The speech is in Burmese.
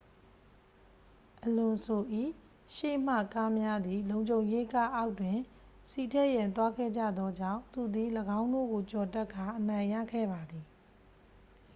အလွန်ဆို ၏ရှေ့မှကားများသည် လုံခြုံရေးကားအောက်တွင် ဆီထည့်ရန်သွားခဲ့ကြသောကြောင့် သူသည် ၎င်းတို့ကိုကျော်တက်ကာ အနိုင်ရခဲ့ပါသည်